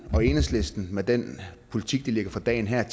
og enhedslisten med den politik de lægger for dagen her